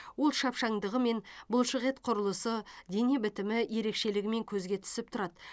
ол шапшаңдығымен бұлшықет құрылысы дене бітімі ерекшелігімен көзге түсіп тұрады